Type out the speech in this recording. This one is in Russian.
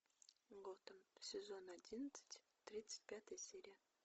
готэм сезон одиннадцать тридцать пятая серия